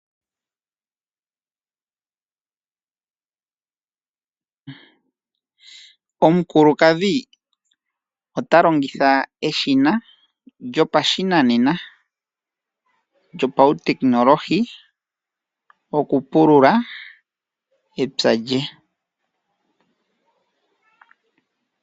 Omukukadhi ota longitha eshina lyopashinanena lyopautekinolohi oku pulula epya lye.